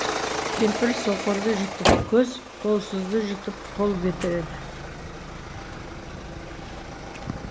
кемпір соқырды жұтып көз қолсызды жұтып қол бітіреді